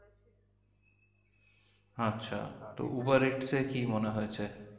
আচ্ছা তো Uber eats এ কি মনে হয়েছে?